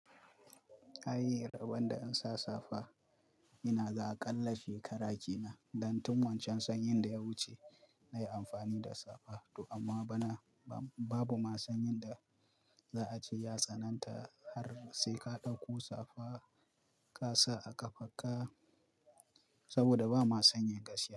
Ai rabon da in sa safa inaga aƙalla shekara kenan, dan tun wancan sanyin da ya wuce nayi amfani da safa to amma bana babu ma sanyin da za a ce ya tsananta har sai ka dauko safa ka sa a kafarka, saboda ba ma sanyin gaskiya.